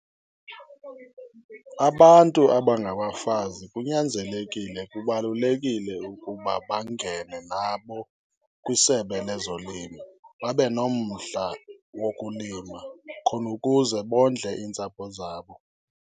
Abantu abangabafazi kunyanzelekile, kubalulekile ukuba bangene nabo kwisebe lezolimo babenomdla wokulima, khona ukuze bondle iintsapho zabo.